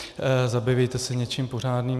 Zabývejte se něčím pořádným.